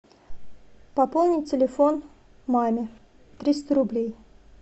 пополнить телефон маме триста рублей